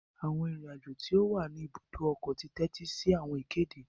Awọn arinrin-ajo ti o wá ní ibùdó ọkọ ti tẹtisi awọn ìkéde